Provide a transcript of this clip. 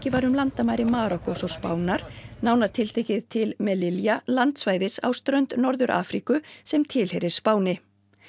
var um landamæri Marókkós og Spánar nánar tiltekið til landsvæðis á strönd Norður Afríku sem tilheyrir Spáni